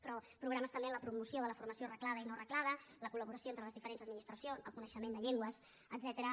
però programes també en la promoció de la formació reglada i no reglada la col·laboració entre les diferents administracions el coneixement de llengües etcètera